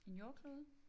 En jordklode?